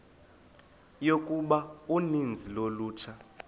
yokuba uninzi lolutsha